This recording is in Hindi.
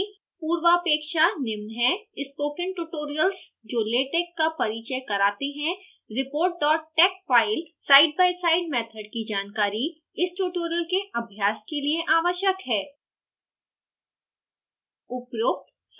इसको सीखने की पूर्वापेक्षा निम्न हैं: स्पोकन ट्यूटोरियल्स जो latex का परिचय कराते हैं report dot tex file side by side method की जानकारी इस ट्यूटोरियल के अभ्यास के लिए आवश्यक हैं